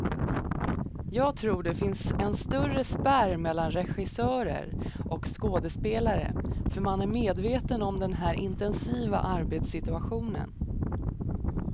Jag tror det finns en större spärr mellan regissörer och skådespelare, för man är medvetna om den här intensiva arbetssituationen.